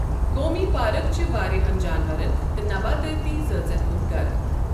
قومی پارك چھِ واریاہَن جانوَرَن تہٕ نباتٲتی زٲژَن ہِیُنٛد گَھرٕ۔